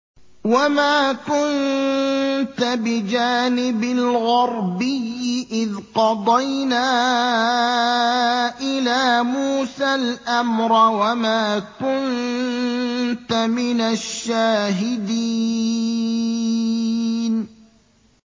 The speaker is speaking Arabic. وَمَا كُنتَ بِجَانِبِ الْغَرْبِيِّ إِذْ قَضَيْنَا إِلَىٰ مُوسَى الْأَمْرَ وَمَا كُنتَ مِنَ الشَّاهِدِينَ